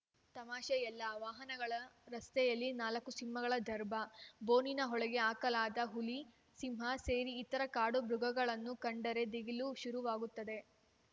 ತಮಾಷೆಯಲ್ಲ ವಾಹನಗಳ ರಸ್ತೆಯಲ್ಲಿ ನಾಲ್ಕು ಸಿಂಹಗಳ ದರ್ಭ ಬೋನಿನ ಒಳಗೆ ಹಾಕಲಾದ ಹುಲಿ ಸಿಂಹ ಸೇರಿ ಇತರ ಕಾಡು ಮೃಗಗಳನ್ನು ಕಂಡರೆ ದಿಗಿಲು ಶುರುವಾಗುತ್ತದೆ